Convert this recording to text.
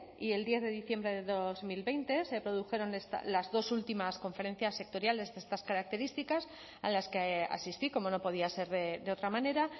y el diez de diciembre de dos mil veinte se produjeron las dos últimas conferencias sectoriales de estas características a las que asistí como no podía ser de otra manera